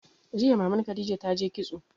Jiya Maman Khadija ta yi kitso.